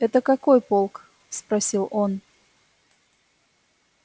это какой полк спросил он